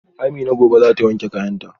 Amina gobe zata wanke kayanta